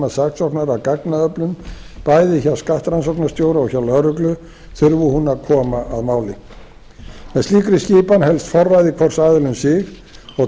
að gagnaöflun bæði hjá skattrannsóknastjóra og hjá lögreglu þurfi hún að koma að máli með slíkri skipan helst forræði hvors aðila um sig og